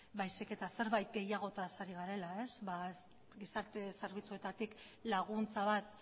baizik eta zerbait gehiagotaz ari garela gizarte zerbitzuetatik laguntza bat